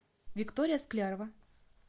виктория склярова